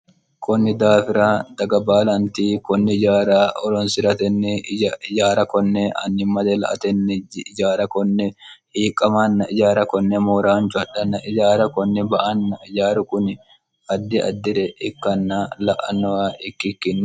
kunni daafira daga baalanti kunni yaara olonsi'raatenni yaara konne annimmade la atenni jaara konne hiiqqamanna ijaara konne mooraanchu hadhanna ijaara kunni ba anna iyaaru kuni haddi addi're ikkanna la'annowa ikkikkinno